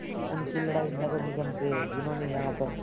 उनकी लड़ाई नगर निगम से है जिन्होंने यहाँ पर